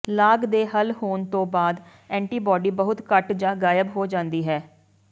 ਲਾਗ ਦੇ ਹੱਲ ਹੋਣ ਤੋਂ ਬਾਅਦ ਐਂਟੀਬਾਡੀ ਬਹੁਤ ਘੱਟ ਜਾਂ ਗਾਇਬ ਹੋ ਜਾਂਦੀ ਹੈ